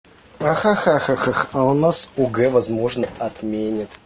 ха-ха ха у нас огэ возможно отменят